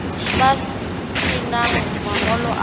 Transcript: ba se nang mangolo a